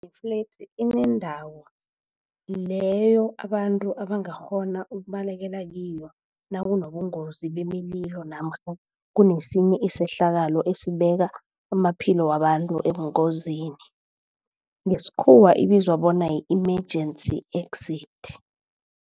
Ifledzi inendawo leyo abantu abangakghona ukubalekela kiyo nakunobungozi bemililo namkha kunesinye isehlakalo esibeka amaphilo wabantu ebungozini ngesikhuwa ibizwa bona yi-emergency exit.